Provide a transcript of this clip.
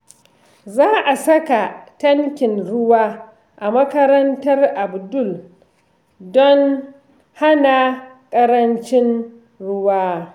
Za a saka tankin ruwa a makarantar Abdul don hana ƙarancin ruwa.